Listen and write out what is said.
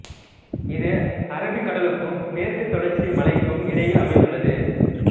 இது அரபிக் கடலுக்கும் மேற்குத் தொடர்ச்சி மலைகளுக்கும் இடையில் அமைந்துள்ளது